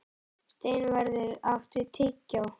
Steinvarður, áttu tyggjó?